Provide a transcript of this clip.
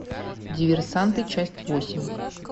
диверсанты часть восемь